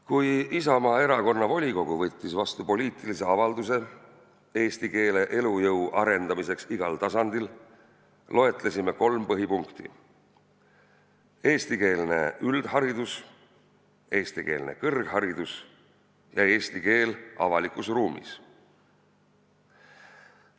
Kui Isamaa Erakonna volikogu tegi poliitilise avalduse tegevuste kohta, millega arendada eesti keele elujõudu igal tasandil, loetlesime kolm põhipunkti: eestikeelne üldharidus, eestikeelne kõrgharidus ja eesti keel avaliku ruumis.